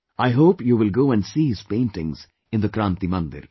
I hope you will go and see his paintings in the 'Kranti Mandir